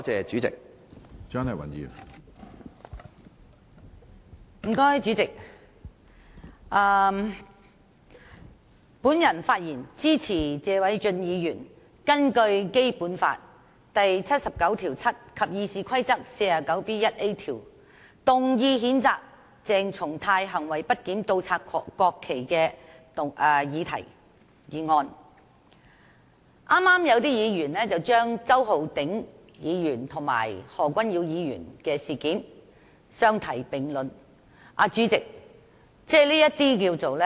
主席，我發言支持謝偉俊議員根據《基本法》第七十九條第七項，以及《議事規則》第 49B 條動議譴責鄭松泰行為不檢、倒插國旗的議案。剛才有議員把這件事與周浩鼎議員和何君堯議員的事件相提並論，主席，這該怎麼說呢？